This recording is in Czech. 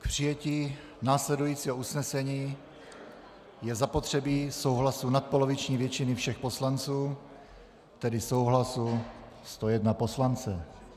K přijetí následujícího usnesení je zapotřebí souhlasu nadpoloviční většiny všech poslanců, tedy souhlasu 101 poslance.